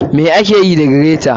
ma akeyi da greta.